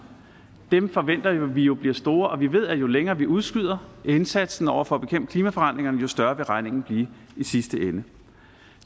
forventer vi jo bliver store og vi ved at jo længere vi udskyder indsatsen over for at bekæmpe klimaforandringerne jo større vil regningen blive i sidste ende